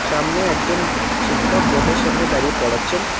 সামনে একজন শিক্ষক বোডের সামনে দাঁড়িয়ে পড়াচ্ছেন।